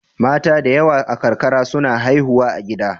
Mata da yawa a karkara suna haihuwa a gida.